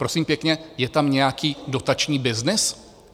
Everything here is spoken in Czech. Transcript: Prosím pěkně, je tam nějaký dotační byznys?